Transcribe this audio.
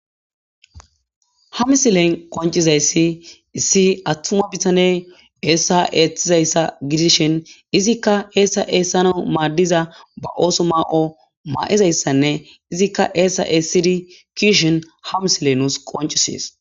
Ha misilen qoncisizaysi issi atuma bitane eesa eesizasa gidishin izika eesa eesanawu maadiza ba ooso ma'o ma'izaysane izika eesa eesidi ke'ishin ha misile nus qoncises.